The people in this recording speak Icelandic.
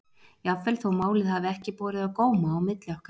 Jafnvel þó málið hafi ekki borið á góma á milli okkar.